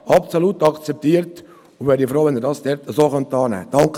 Ich wäre froh, wenn Sie diese so annehmen könnten.